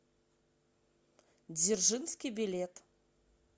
дзержинский билет